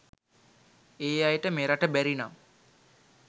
ඒ අයට මෙරට බැරිනම